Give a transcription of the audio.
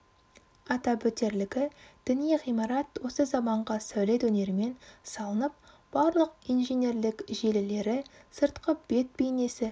атап өтерлігі діни ғимарат осы заманғы сәулет өнерімен салынып барлық инженерлік желілері сыртқы бет бейнесі